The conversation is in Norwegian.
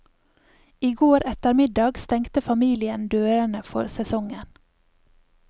I går ettermiddag stengte familien dørene for sesongen.